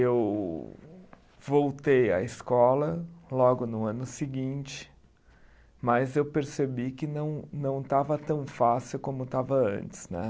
Eu voltei à escola logo no ano seguinte, mas eu percebi que não não estava tão fácil como estava antes, né.